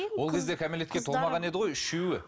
ол кезде кәмелетке толмаған еді ғой үшеуі